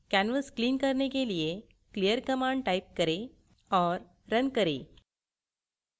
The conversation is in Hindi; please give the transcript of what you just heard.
canvas clear करने के लिए clear command type करें और run करें